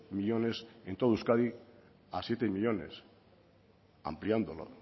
millónes en todo euskadi a siete millónes ampliando la